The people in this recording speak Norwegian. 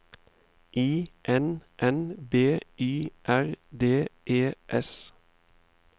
I N N B Y R D E S